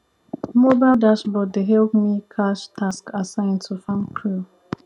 mobile dashboard dey help me cash task assign to farm crew